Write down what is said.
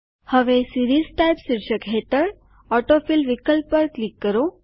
હવે series type શીર્ષક હેઠળ ઓટોફિલ વિકલ્પ પર ક્લિક કરો